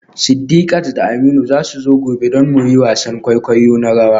Sidiqat da Aminu za su zo gobe don mu yi wasan kwaikwayo na rawa.